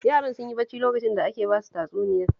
Yaran sun yi bacci lokacin da ake ba su tatsuniyar